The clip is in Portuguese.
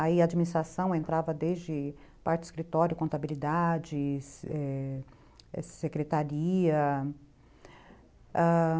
Aí a administração entrava desde parte de escritório, contabilidade, é... secretaria... ãh...